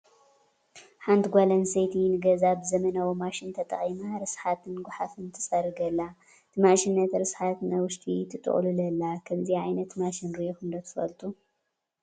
ሓንቲ ጓል ኣነስተይቲ ንገዝኣ ብዘበናዊ ማሽን ተጠቒማ ርስሓትን ጓሓፍን ትፀርግ ኣላ፡፡ እቲ ማሽን ነቲ ርስሓት ናብ ውሽጢ ትጥቕልሎ ኣላ፡፡ ከምዚኣ ዓይነት ማሽን ሪኢኹም ዶ ትፈልጡ?